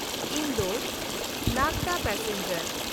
Indore Nagda passenger